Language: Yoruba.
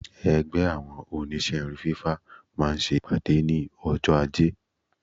Ẹgbẹ́ àwọn Oníṣẹ́ irun fífá máa ń ṣe ìpàdé ní ọjọ́ ajé.